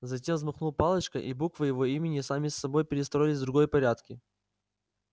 затем взмахнул палочкой и буквы его имени сами собой перестроились в другой порядке